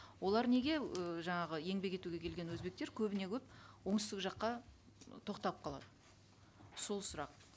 олар неге ііі жаңағы еңбек етуге келген өзбектер көбіне көп оңтүстік жаққа ы тоқтап қалады сол сұрақ